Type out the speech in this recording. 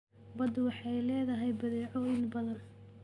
Baddu waxay leedahay badeecooyin badan.